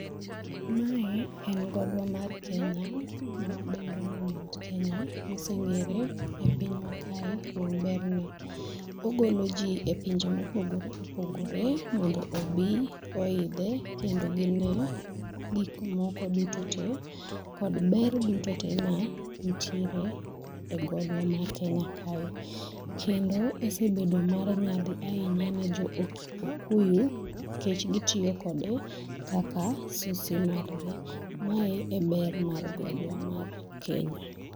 mae en gogo mar kenya ma wadendo ni mt.kenya ma ongere epinywa kae kuom berne ogolo ji e pinje mopogore opogore mondo obi oidhe kendo gine gik moko duto te kod ber duto te mantiere e godno mar kenya kae kendo oseedo mar nyadhi ahinya ne jo okuyu kendo nikech gitiyo kode kaka sisi mar gi mae e ber mar godwa mar kenya.